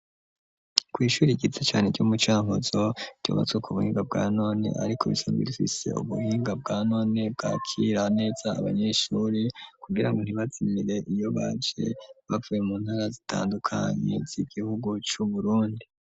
Kw'ishuri igisi cane ry'umucankuzo tyobatswe ku buhinga bwa none, ariko bisagwa irufise ubuhinga bwa none bwa kira neza abanyeshuri kugira ngo ntibazimire iyo baje bavuye mu ntara zitandukanye zo igihugu c'uburundi.